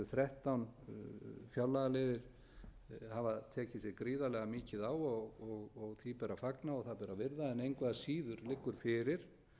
þrettán fjárlagaliðir tekið sig gríðarlega mikið á og því ber að fagna og það ber að virða en engu að síður liggur fyrir